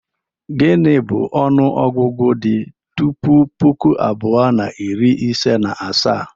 Gịnị bụ onuogugu di tupu puku abuo na iri ise na asaa?